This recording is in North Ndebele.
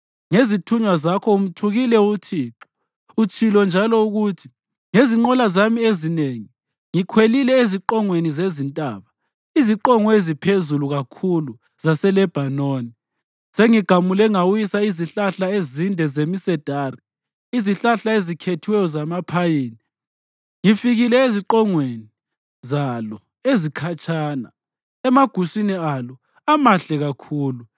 Ngezithunywa zakho umthukile uThixo. Utshilo njalo ukuthi, ‘Ngezinqola zami ezinengi ngikhwelile eziqongweni zezintaba iziqongo eziphezulu kakhulu zaseLebhanoni. Sengigamule ngawisa izihlahla ezinde zemisedari, izihlahla ezikhethiweyo zamaphayini. Ngifikile eziqongweni zalo ezikhatshana, emaguswini alo amahle kakhulu.